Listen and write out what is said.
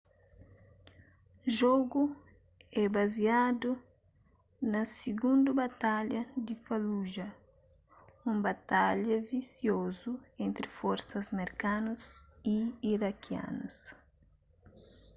jogu é baziadu na sigundu batalha di fallujah un batalha visiozu entri forsas merkanus y irakianus